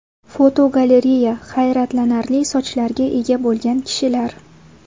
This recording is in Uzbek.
Fotogalereya: Hayratlanarli sochlarga ega bo‘lgan kishilar.